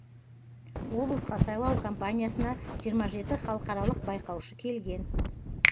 облысқа сайлау компаниясына жиырма жеті халықаралық байқаушы келген